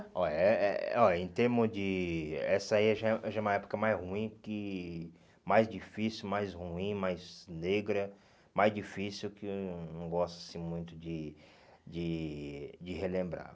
Olha eh eh olha Em termos de... Essa aí já é já é uma época mais ruim que, mais difícil, mais ruim, mais negra, mais difícil, que eu não gosto assim muito de de de relembrar.